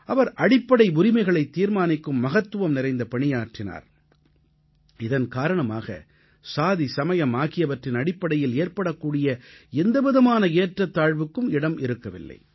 அவர் அடிப்படை உரிமைகளைத் தீர்மானிக்கும் மகத்துவம் நிறைந்த பணியாற்றினார் இதன் காரணமாக சாதி சமயம் ஆகியவற்றின் அடிப்படையில் ஏற்படக்கூடிய எந்தவிதமான ஏற்றத்தாழ்வுக்கும் இடம் இருக்கவில்லை